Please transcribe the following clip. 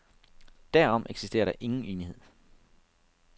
Derom eksisterer der ingen enighed.